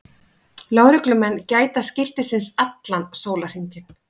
Lögreglumenn gæta skiltisins allan sólarhringinn